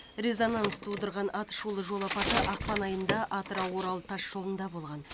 резонанс тудырған атышулы жол апаты ақпан айында атырау орал тасжолында болған